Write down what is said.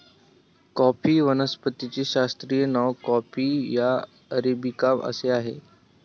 coffee वनस्पतीचे शास्त्रीय नाव कॉफी या अरेबिका असे आहे